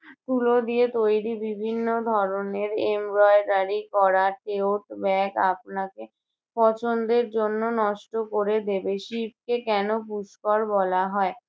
তুলো দিয়ে তৈরী বিভিন্ন ধরনের embroidery করা bag আপনাকে পছন্দের জন্য নষ্ট করে দেবে। শিবকে কেন পুষ্কর বলা হয়?